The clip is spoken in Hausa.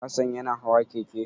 Hassan yana hawa keke.